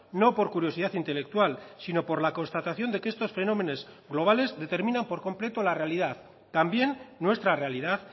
no por curiosidad intelectual sino por la constatación de que estos fenómenos globales determinan por completo la realidad también nuestra realidad